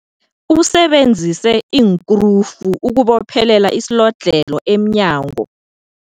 Usebenzise iinkrufu ukubophelela isilodlhelo emnyango.